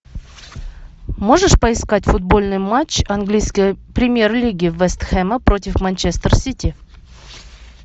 можешь поискать футбольный матч английской премьер лиги вест хэма против манчестер сити